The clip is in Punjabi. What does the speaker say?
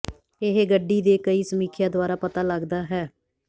ਇਹ ਗੱਡੀ ਦੇ ਕਈ ਸਮੀਖਿਆ ਦੁਆਰਾ ਪਤਾ ਲੱਗਦਾ ਹੈ